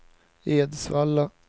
Edsvalla